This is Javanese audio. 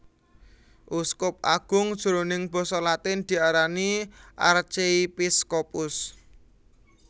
Uskup agung jroning Basa Latin diarani Archiepiscopus